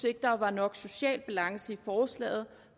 ikke der var nok social balance i forslaget